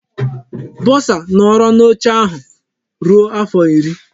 Bọsa nọọrọ n'oche ahụ ruo afọ iri.